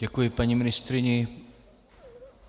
Děkuji paní ministryni.